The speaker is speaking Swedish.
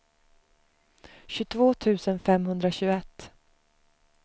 tjugotvå tusen femhundratjugoett